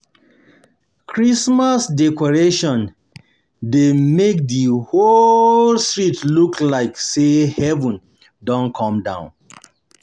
Christmas decoration dey make di whole street look like sey heaven don come down.